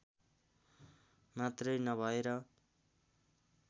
मात्रै नभएर